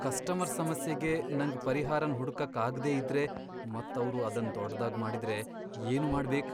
Customer ಸಮಸ್ಯೆಗೆ ನಂಗ್ ಪರಿಹಾರನ್ ಹುಡುಕಕ್ ಆಗ್ದೇ ಇದ್ರೆ ಮತ್ ಅವ್ರು ಅದನ್ ದೊಡ್ಡದಾಗ್ ಮಾಡಿದ್ರೆ ಏನು ಮಾಡ್ಬೇಕ್ ?